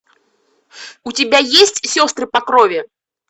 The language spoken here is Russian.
у тебя есть сестры по крови